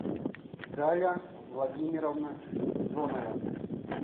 галя владимировна зонова